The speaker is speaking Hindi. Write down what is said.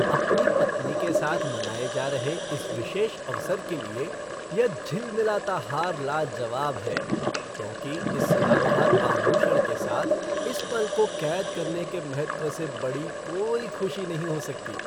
अपनी पत्नी के साथ मनाए जा रहे इस विशेष अवसर के लिए यह झिलमिलाता हार लाजवाब है क्योंकि इस सदाबहार आभूषण के साथ इस पल को कैद करने के महत्व से बड़ी कोई खुशी नहीं हो सकती।